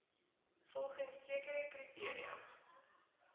volgens sekere kriteria